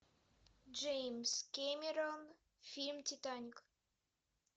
джеймс кэмерон фильм титаник